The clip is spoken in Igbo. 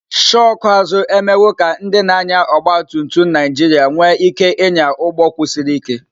shoku azu emewo ka ndị na-anya ọgba tum tum Naijiria nwee ike ịnya ụgbọ kwụsiri ike.